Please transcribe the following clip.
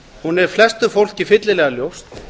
hún er flestu fólki fyllilega ljós